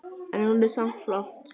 En hún er samt flott.